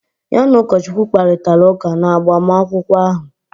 Ya na ụkọchukwu kparịtara ụka n'agbamakwụkwọ ahụ